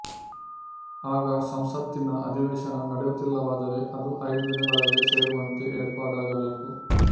ಆಗ ಸಂಸತ್ತಿನ ಅಧಿವೇಶನ ನಡೆಯುತ್ತಿಲ್ಲವಾದರೆ ಅದು ಐದು ದಿನಗಳಲ್ಲಿ ಸೇರುವಂತೆ ಏರ್ಪಾಡಾಗಬೇಕು